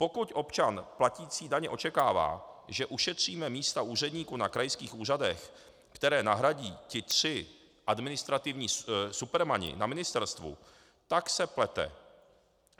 Pokud občan platící daně očekává, že ušetříme místa úředníků na krajských úřadech, které nahradí ti tři administrativní supermani na ministerstvu, tak se plete.